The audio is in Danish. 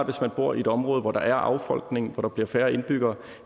hvis man bor i et område hvor der er affolkning hvor der bliver færre indbyggere